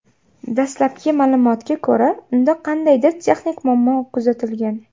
Dastlabki ma’lumotga ko‘ra, unda qandaydir texnik muammo kuzatilgan.